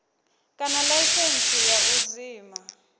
kana laisentsi ya u zwima